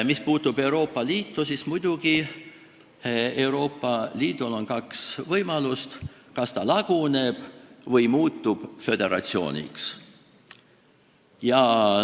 Mis puutub Euroopa Liitu, siis muidugi on Euroopa Liidul kaks võimalust: ta kas laguneb või muutub föderatsiooniks.